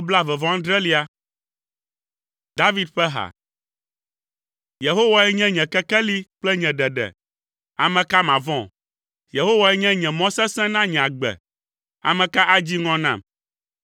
David ƒe ha. Yehowae nye nye kekeli kple nye ɖeɖe. Ame ka mavɔ̃? Yehowae nye mɔ sesẽ na nye agbe, ame ka adzi ŋɔ nam?